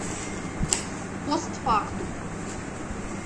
пост фактум